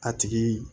A tigi